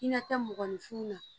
I na kɛ mɔgɔninfin na